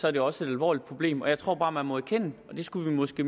er det også et alvorligt problem jeg tror bare at man må erkende og det skulle vi måske